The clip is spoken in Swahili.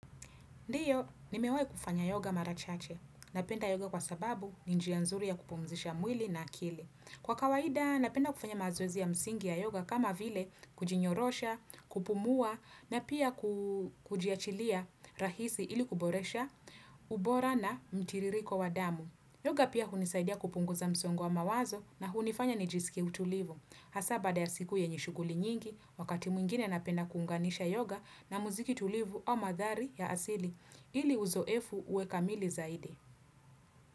Ndiyo, nimewai kufanya yoga mara chache. Napenda yoga kwa sababu ni njia nzuri ya kupumzisha mwili na akili. Kwa kawaida, napenda kufanya mazoezi ya msingi ya yoga kama vile kujinyorosha, kupumua, na pia kujiachilia rahisi ili kuboresha ubora na mtiririko wa damu. Yoga pia hunisaidia kupunguza msongoe wa mawazo na hunifanya nijisiki utulivu. Hasaa baada ya siku yenye shughuli nyingi, wakati mwingine napenda kuunganisha yoga na muziki tulivu au mandhari ya asili, ili uzoefu uwe kamili zaidi.